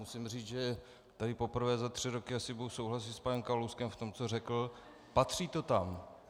Musím říct, že tady poprvé za tři roky asi budu souhlasit s panem Kalouskem v tom, co řekl - patří to tam.